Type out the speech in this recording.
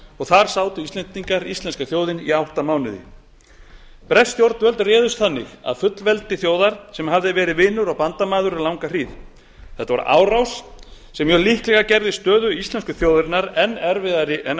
og þar sat íslenska þjóðin í átta mánuði bresk stjórnvöld réðust þannig að fullveldi þjóðar sem hafði verið vinur og bandamaður um langa hríð þetta var árás sem mjög líklega gerði stöðu íslensku þjóðarinnar enn erfiðari en